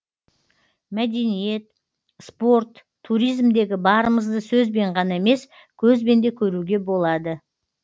мәдениет спорт туризмдегі барымызды сөзбен ғана емес көзбен де көруге болады